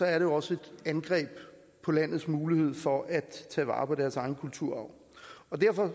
er det også et angreb på landets mulighed for at tage vare på deres egen kulturarv og derfor